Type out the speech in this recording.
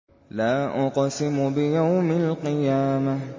لَا أُقْسِمُ بِيَوْمِ الْقِيَامَةِ